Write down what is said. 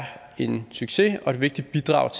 en succes og et vigtigt bidrag